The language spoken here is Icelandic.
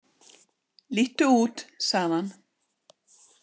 Líttu út sagði hann.